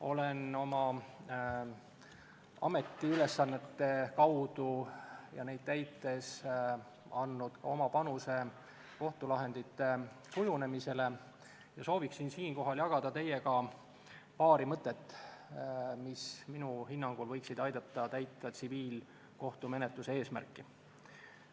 Olen oma ametiülesannete kaudu ja neid täites andnud oma panuse kohtulahendite kujunemisele ja sooviksin siinkohal jagada teiega paari mõtet, mis minu hinnangul võiksid aidata täita tsiviilkohtumenetluse eesmärki.